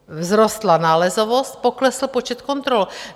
Vzrostla nálezovost, pokles počet kontrol.